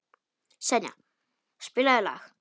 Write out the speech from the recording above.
Senía, spilaðu lag.